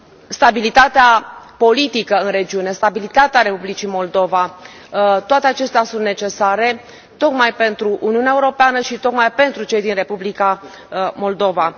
Stabilitatea politică în regiune, stabilitatea Republicii Moldova, toate acestea sunt necesare, tocmai pentru Uniunea Europeană și tocmai pentru cei din Republica Moldova.